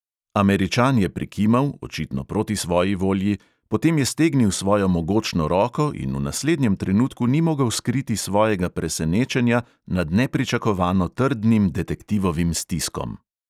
Američan je prikimal, očitno proti svoji volji, potem je stegnil svojo mogočno roko in v naslednjem trenutku ni mogel skriti svojega presenečenja nad nepričakovano trdnim detektivovim stiskom.